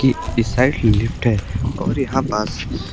इ इस side lift है और यहां पास--